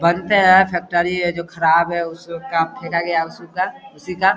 factory है जो खराब है काम फेका गया उसी का उसी का --